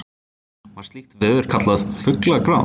Var slíkt veður kallað fuglagráð.